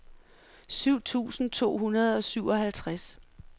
syv tusind to hundrede og syvoghalvtreds